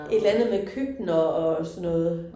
Et eller andet med køkkener og sådan noget